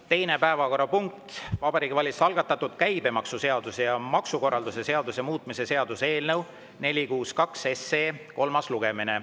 Teine päevakorrapunkt: Vabariigi Valitsuse algatatud käibemaksuseaduse ja maksukorralduse seaduse muutmise seaduse eelnõu 462 kolmas lugemine.